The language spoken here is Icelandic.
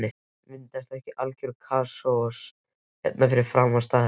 Myndast ekki algjör kaos hérna fyrir framan staðinn?